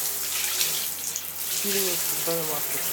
фильмы с беном аффлеком